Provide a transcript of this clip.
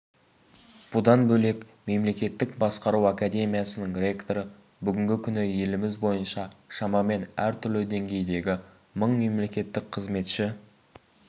бұдан бөлек мемлекеттік басқару академиясының ректоры бүгінгі күні еліміз бойынша шамамен әртүрлі деңгейдегі мың мемлекеттік қызметші